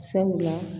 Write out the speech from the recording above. Sabula